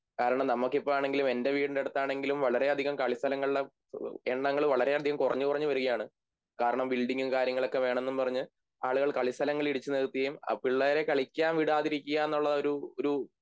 കാരണം നമുക്കിപ്പോഴാണെങ്കിലും എൻ്റെ വീടിൻ്റെ അടുത്താണെങ്കിലും വളരെയധികം കളിസ്ഥലങ്ങളിലും എണ്ണങ്ങൾ വളരെയധികം കുറഞ്ഞു കുറഞ്ഞു വരികയാണ് കാരണം ബിഎൽഡിങ്ങും കാര്യങ്ങളൊക്കെ വേണമെന്ന് പറഞ്ഞ് ആളുകൾ കളിസ്ഥലങ്ങൾ ഇടിച്ചു നികത്തിയും ആ പിള്ളേരെ കളിക്കാൻ വിടാതിരിയ്ക്കുക എന്നുള്ളൊരു ഒരു